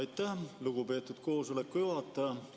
Aitäh, lugupeetud koosoleku juhataja!